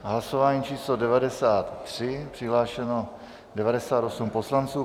Hlasování číslo 93, přihlášeno 98 poslanců.